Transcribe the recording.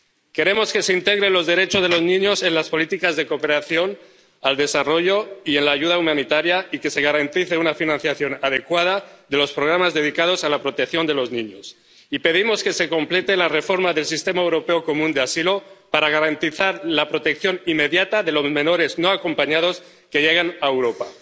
Queremos que se integren los derechos de los niños en las políticas de cooperación al desarrollo y en la ayuda humanitaria y que se garantice una financiación adecuada de los programas dedicados a la protección de los niños, y pedimos que se complete la reforma del Sistema Europeo Común de Asilo para garantizar la protección inmediata de los menores no acompañados que llegan a Europa.